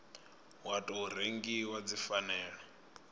wa tou rengiwa dzi fanela